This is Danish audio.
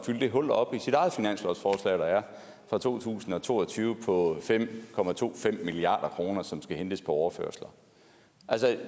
fylde det hul op i sit eget finanslovsforslag der er for to tusind og to og tyve på fem milliard kr som skal hentes på overførsler